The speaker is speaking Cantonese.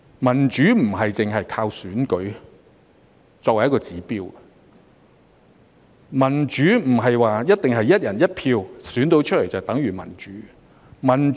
民主不是單靠選舉作為指標，民主並不是一定"一人一票"選出來便等於民主。